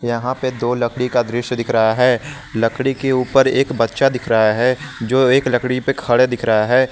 यहां पे दो लकड़ी का दृश्य दिख रहा है लकड़ी के ऊपर एक बच्चा दिख रहा है जो एक लकड़ी पे खड़े दिख रहा है।